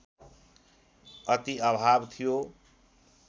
अति अभाव थियो